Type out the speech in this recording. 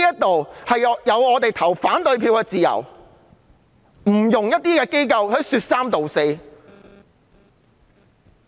我們享有投反對票的自由，不容一些機構說三道四。